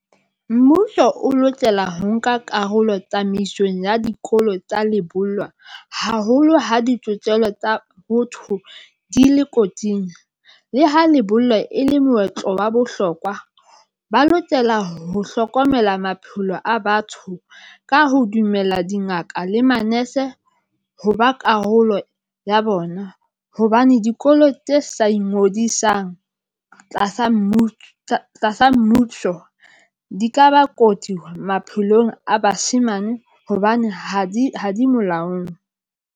Mmuso o lokela ho nka karolo tsamaisong ya dikolo tsa lebollwa, haholo ha ditokelo tsa botho, di le kotsing. Le ha lebollo e le moetlo wa bohlokwa. Ba lokela ho hlokomela maphelo a batho ka ho dumela dingaka le manese ho ba karolo ya bona. Hobane dikolo tse sa ingodisang tlasa tlasa mmusho di ka ba kotsi maphelong, a bashemane hobane ha di ha di molaong.